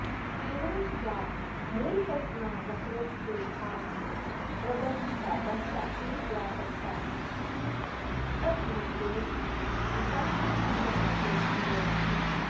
एवञ्च या मूलकल्पना वक्रोक्तेर्भामहेन प्रदर्शिता तस्या एव व्यापकसाहित्यिकतत्त्वरूपेण विकासः कुन्तकस्य स्वीयविशेषता